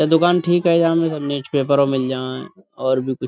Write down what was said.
یہ دکان ٹھیک ہے۔ یا مے تو نوسپپرو مل جائے اور بھی کچھ --